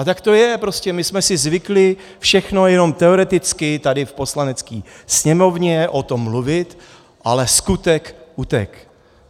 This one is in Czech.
A tak to je prostě, my jsme si zvykli všechno jenom teoreticky tady v Poslanecké sněmovně o tom mluvit, ale skutek utek.